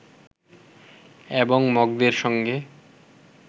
এবং মগদের সঙ্গে